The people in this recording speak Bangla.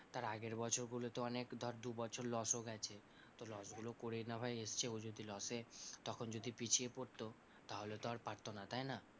তার আগের বছরগুলোতে অনেক ধর দুবছর loss ও গেছে, তো loss গুলো করেই না ভাই এসছে, ও যদি loss এ তখন যদি পিছিয়ে পড়তো তাহলে তো আর পারতো না তাই না?